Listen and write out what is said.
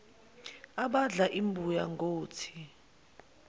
abadla imbuya ngothi